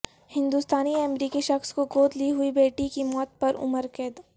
ہندوستانی امریکی شخص کو گود لی ہوئی بیٹی کی موت پر عمر قید